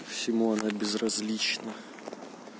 симона безразлично